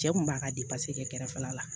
Cɛ kun b'a ka kɛrɛfɛ la la